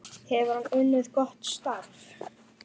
Hefur hann unnið gott starf?